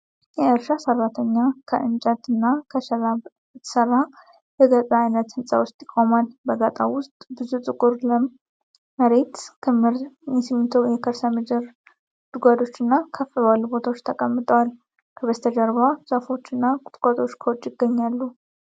የእርሻ ሰራተኛ ከእንጨት እና ከሸራ በተሰራ የጋጣ አይነት ህንፃ ውስጥ ይቆማል። በጋጣው ውስጥ ብዙ ጥቁር፣ ለም መሬት ክምር በሲሚንቶ የከርሰ ምድር ጉድጓዶች እና ከፍ ባሉ ቦታዎች ተቀምጠዋል። ከበስተጀርባ ዛፎች እና ቁጥቋጦዎች ከውጭ ይገኛሉ።